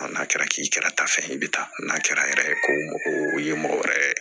N'a kɛra k'i kɛra ta fɛn ye i bɛ taa n'a kɛra yɛrɛ ye ko mɔgɔ o ye mɔgɔ wɛrɛ